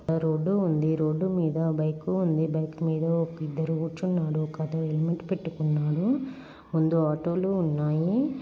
Road ఉండి. Road మేడా bike ఉంది. బైక్ మీద ఓక ఇద్దరు కూర్చున్నాడు. ఒకత హెల్మెట్ పెట్టుకున్నాడు. ముందు ఆటోలు ఉన్నాయి.